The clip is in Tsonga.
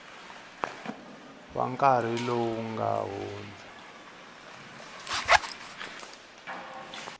wa nkarhi lowu nga hundza